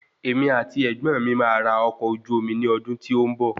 Emi àti ẹ̀gbọ́n mi máa ra ọkọ̀ ojú omi ní ọdún tí ó ń bọ̀